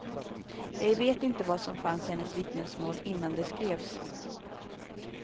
Jag vet inte vad som fanns i hennes vittnesmål innan det skrevs.